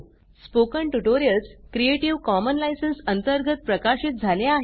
spoken tutorials creative common licence अंतर्गत प्रकाशीत झाले आहे